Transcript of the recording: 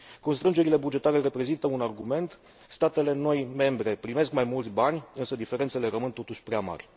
Constrângerile bugetare reprezintă un argument statele noi membre primesc mai mulți bani, însă diferențele rămân, totuși, prea mari.